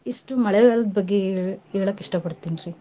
ಇಷ್ಟು ಮಳೆಗಾಲದ್ ಬಗ್ಗೆ ಏ~ ಹೇಳಕ್ ಇಷ್ಟಪಡ್ತೇನ್ರಿ .